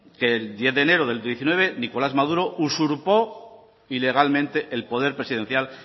que el diez de enero del diecinueve nicolás maduro usurpó ilegalmente el poder presidencial